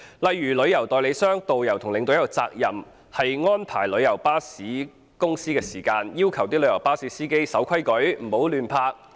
例如，旅行代理商、導遊和領隊有責任要求旅遊巴士公司告知其司機要遵守規則，不要胡亂停泊。